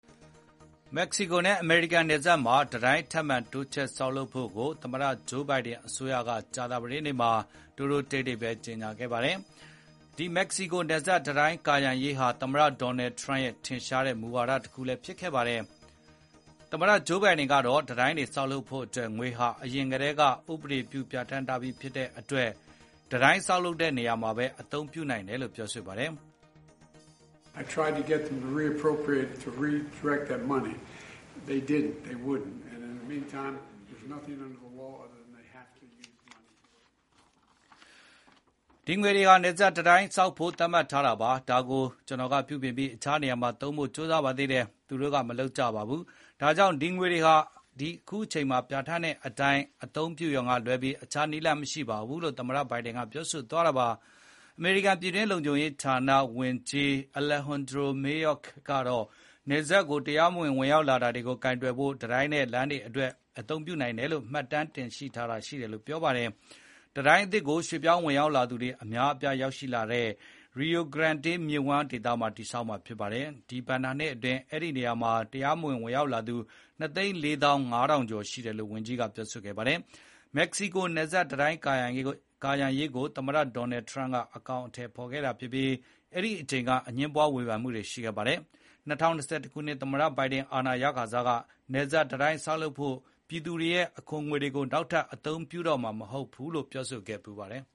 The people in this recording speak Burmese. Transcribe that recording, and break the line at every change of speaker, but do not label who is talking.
မက္ကဆီကိုနဲ့အမေရိကန်နယ်စပ်မှာ တံတိုင်းထပ်မံတိုးချဲ့ဆောက်လုပ်ဖို့ကို သမ္မတဂျိုးဘိုင်ဒန်အစိုးရဟာ ကြာသပတေးနေ့မှာတိုးတိုးတိတ်တိတ် ကြေညာခဲ့ပါတယ်။ ဒီ မက္ကဆီကိုနယ်စပ်တံတိုင်းကာရံရေးဟာ သမ္မတဒေါ်နယ်ထရန့်ရဲ့ ထင်ရှားတဲ့ မူဝါဒတခုဖြစ်ခဲ့ပါတယ်။ သမ္မတ ဂျိုးဘိုင်ဒန်ကတော့တံတိုင်းဆောက်ဖို့အတွက်ငွေဟာ အရင်ကတည်းက ဥပဒေပြုပြဌာန်းထားပြီးဖြစ်တဲ့အတွက် တိုင်းဆောက်တဲ့နေရာမှာပဲ အသုံးပြုနိုင်တယ်လို့ဆိုပါတယ်။
“
ဒီငွေတွေက နယ်စပ်တံတိုင်းဆောက်ဖို့သတ်မှတ်ထားတာပါ။ ဒါကို ကျနော်က ပြုပြင်ပြီးအခြားနေရာမှာ သုံးဖို့ကြိုးစားပါသေးတယ်။ သူတို့ကမလုပ်ကြပါဘူး။ ဒါကြောင့် ဒီငွေတွေဟာ အခုအချိန်မှာပြဌာန်းထားတဲ့ အတိုင်း အသုံးပြုရုံကလွဲပြီးအခြားနည်းလမ်းမရှိပါဘူး။” လို့သမ္မတဘိုင်ဒန်ကပြောပါတယ်။ အမေရိကန်ပြည်တွင်းလုံခြုံရေးဌာနဝန်ကြီး Alejandro Mayorkas ကတော့ နယ်စပ်ကို တရားမဝင် ဝင်ရောက်တာတွေကိုကာကွယ်ဖို့ တံတိုင်းနဲ့လမ်းတွေအတွက်အ သုံးပြုနိုင်တယ်လို့ မှတ်တမ်းတင်ထားတာရှိတယ်လို့ပြောပါတယ်။ တံတိုင်းအသစ်ကို ရွှေ့ပြောင်းဝင်ရောက်သူတွေအများအပြားလာရောက်တဲ့ Rio Grande Valley ရီယို ဂရန်တေး မြစ်ဝှမ်း ဒေသမှာဆောက်မှာဖြစ်ပါတယ်။ ဒီ ဘဏ္ဍာနှစ်အတွင်း ဒီနေရာကနေ တရားမဝင် ဝင်ရောက်လာသူ ၂၄၅,၀၀၀ ကျော် ရှိတယ်လို့ ဝန်ကြီး Mayorkas ကပြောပါတယ်။ မက္ကဆီကိုနယ်စပ်တံတိုင်းကာရံရေးကို သမ္မတဒေါ်နယ်ထရန့်ကအကောင်အထည်ဖေါ်ခဲ့တာဖြစ်ပြီး အဲဒိအချိန်က အငြင်းပွားမှုတွေ၊ ဝေဘန်မှုတွေရှိခဲ့ပါတယ်။ ၂၀၂၁ ခုနှစ် သမ္မတဘိုင်ဒန် အာဏာရခါစက နယ်စပ်တံတိုင်းဆောင်ဖို့ ပြည်သူတွေရဲ့ အခွန်ငွေတွေကို နောက်ထပ် အသုံးပြုခွင့်ပေးမှာမဟုတ်ဘူးလို့ ပြောဆိုခဲ့ဖူးပါတယ်။